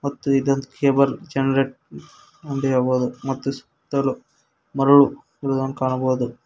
ಮತ್ತು ಇದೊಂದ cable generate ಒಂದ ಹೇಳಬೋದು ಮತ್ತು ಸುತ್ತಲೂ ಮರಳು ಇರುದನ್ನು ಕಾಣಬಹುದು.